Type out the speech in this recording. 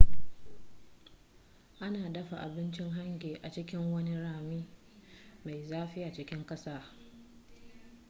ana dafa abincin hangi a cikin wani rami mai zafi a cikin ƙasa